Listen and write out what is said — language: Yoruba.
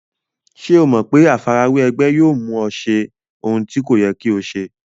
Ṣé o mọ̀ pé àfarawé ẹgbẹ́ yóò mú ọ ṣe ohun tí kò yẹ kí o ṣe?